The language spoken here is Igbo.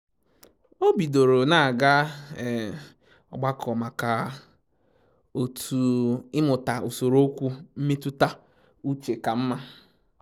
O bidoro na aga ogbakọ maka otu ịmụta usoro okwu mmetụta uche ka mma